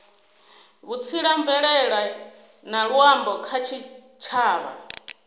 vhutsila mvelele na luambo kha tshitshavha